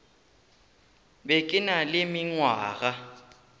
be ke na le mengwaga